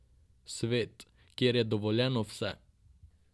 Svet, kjer je dovoljeno vse.